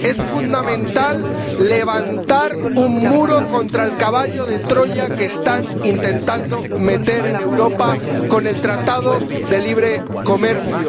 Es fundamental levantar un muro contra el caballo de Troya que están intentando meter en Europa con el tratado de libre comercio.